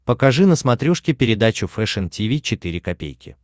покажи на смотрешке передачу фэшн ти ви четыре ка